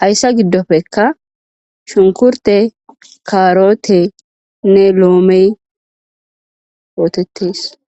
hayssa giddofekka shunkurte karotenne loomey ootettes.